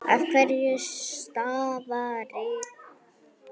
Af hverju stafar það?